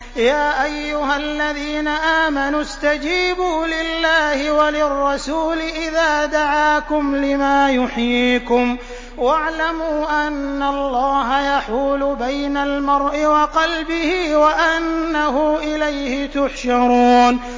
يَا أَيُّهَا الَّذِينَ آمَنُوا اسْتَجِيبُوا لِلَّهِ وَلِلرَّسُولِ إِذَا دَعَاكُمْ لِمَا يُحْيِيكُمْ ۖ وَاعْلَمُوا أَنَّ اللَّهَ يَحُولُ بَيْنَ الْمَرْءِ وَقَلْبِهِ وَأَنَّهُ إِلَيْهِ تُحْشَرُونَ